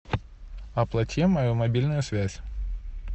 оплати мою мобильную связь